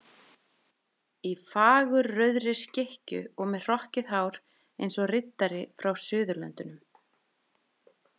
Í fagurrauðri skikkju og með hrokkið hár eins og riddari frá Suðurlöndum.